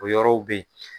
O yɔrɔw be ye